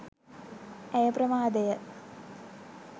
ඇය ප්‍රමාදය.